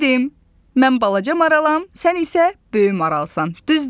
Bildim, mən balaca maralam, sən isə böyük maralsan, düzdür?